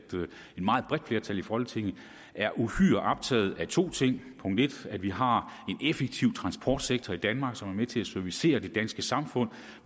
meget bredt flertal i folketinget er uhyre optaget af to ting punkt en at vi har en effektiv transportsektor i danmark som er med til at servicere det danske samfund